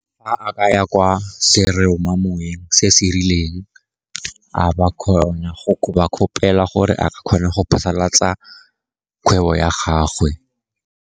Fa a ka ya kwa seromamoweng se se rileng, a ka kgona go ba kgopela gore a ka kgona go phasalatsa kgwebo ya gagwe.